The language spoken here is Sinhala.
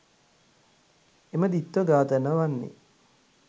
එම ද්විත්ව ඝාතන වන්නේ